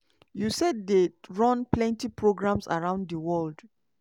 usaid dey run plenty programmes around di world.